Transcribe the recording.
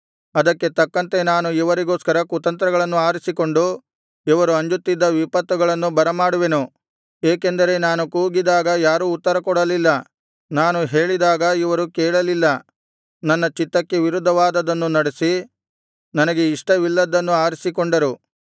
ಅದಕ್ಕೆ ತಕ್ಕಂತೆ ನಾನು ಇವರಿಗೋಸ್ಕರ ಕುತಂತ್ರಗಳನ್ನು ಆರಿಸಿಕೊಂಡು ಇವರು ಅಂಜುತ್ತಿದ್ದ ವಿಪತ್ತುಗಳನ್ನು ಬರಮಾಡುವೆನು ಏಕೆಂದರೆ ನಾನು ಕೂಗಿದಾಗ ಯಾರೂ ಉತ್ತರಕೊಡಲಿಲ್ಲ ನಾನು ಹೇಳಿದಾಗ ಇವರು ಕೇಳಲಿಲ್ಲ ನನ್ನ ಚಿತ್ತಕ್ಕೆ ವಿರುದ್ಧವಾದದ್ದನ್ನು ನಡೆಸಿ ನನಗೆ ಇಷ್ಟವಿಲ್ಲದ್ದನ್ನು ಆರಿಸಿಕೊಂಡರು